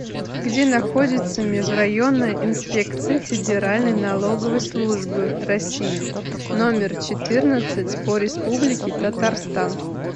где находится межрайонная инспекция федеральной налоговой службы россии номер четырнадцать по республике татарстан